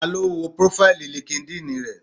Ta ló wo prófáìlì línkídinì rẹ?